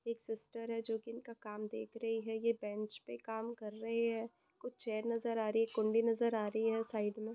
एक सिस्टर है जोकि इनका काम देख रही है ये बेंच पर काम कर रही है कुछ चेयर नज़र आ रही है कुंडी नज़र आ रही हैसाइड में --